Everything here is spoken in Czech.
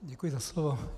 Děkuji za slovo.